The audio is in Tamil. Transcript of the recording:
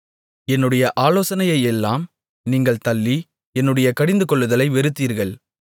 என்னுடைய ஆலோசனையையெல்லாம் நீங்கள் தள்ளி என்னுடைய கடிந்துகொள்ளுதலை வெறுத்தீர்கள்